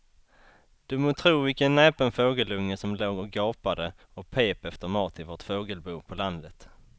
Du må tro vilken näpen fågelunge som låg och gapade och pep efter mat i vårt fågelbo på landet.